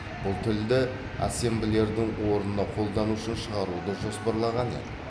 бұл тілді ассемблердің орнына қолдану үшін шығаруды жоспарлаған еді